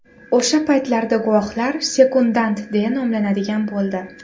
O‘sha paytlarda guvohlar sekundant deya nomlanadigan bo‘ldi.